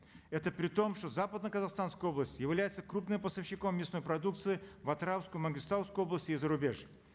это при том что западно казахстанская область является крупным поставщиком мясной продукции в атыраускую мангистаускую области и зарубеж